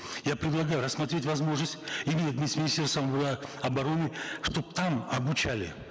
я предлагаю рассмотреть возможность именно с министерством э обороны чтобы там обучали